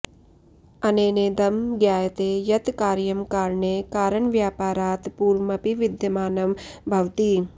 अनेनेदं ज्ञायते यत् कार्यं कारणे कारणव्यापारात् पूर्वमपि विद्यमानं भवति